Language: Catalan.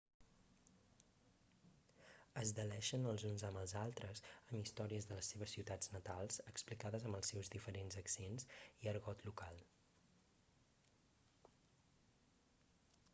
es deleixen els uns amb els altres amb històries de les seves ciutats natals explicades amb els seus diferents accents i argot local